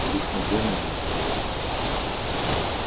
телефон дай на минуту говорю